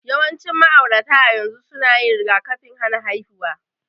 Yawancin ma'aurata a yanzu suna yin rigakafin hana haihuwa.